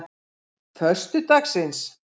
föstudagsins